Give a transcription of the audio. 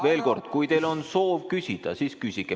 Veel kord: kui teil on soov küsida, siis küsige.